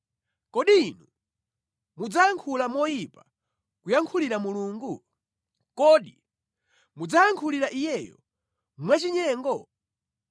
Kodi inu mudzayankhula moyipa kuyankhulira Mulungu? Kodi mudzayankhulira Iyeyo mwachinyengo?